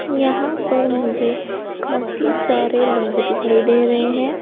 यहां पर मुझे काफी सारे लोग दिखाई दे रहे हैं।